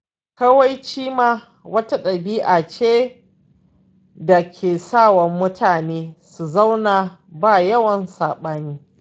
Kawaici ma wata ɗabi'a ce da ke sa wa mutane su zauna ba yawan saɓani.